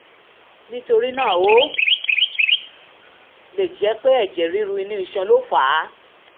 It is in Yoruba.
nítorí náà ó lè jẹ́ pé ẹ̀jẹ̀ ríru inú iṣan ló fà á